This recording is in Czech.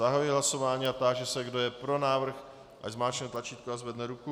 Zahajuji hlasování a táži se, kdo je pro návrh, ať zmáčkne tlačítko a zvedne ruku.